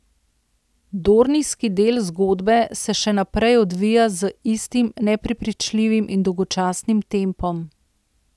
Dornijski del zgodbe se še naprej odvija z istim neprepričljivim in dolgočasnim tempom.